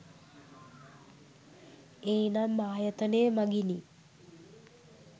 ඵ්නම් ආයතනය මඟිනි.